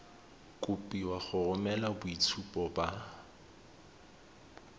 kopiwa go romela boitshupo ba